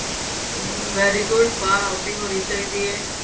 ਚਲੋਂ very good ਬਹਾਰ outing ਹੋਣੀ ਚਾਹੀਦੀ ਏ